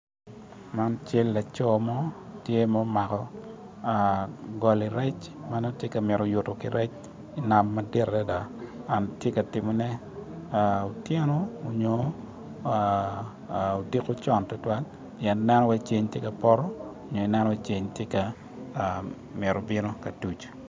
Man cal laco mo ma omako goli rec ma nongo tye ka mito yuto ki rec i nam madit adada and tye ka timone otyeno nyo odiko con tutwal pien ieno calo ceng tye ka poto nyo tye ka mito tuc.